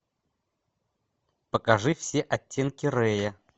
покажи все оттенки рэя